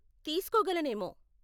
తీస్కోగలనేమో.